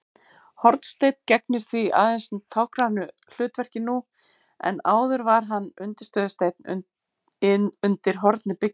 Hornsteinn gegnir því aðeins táknrænu hlutverki nú en áður var hann undirstöðusteinn undir horni byggingar.